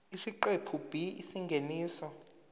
isiqephu b isingeniso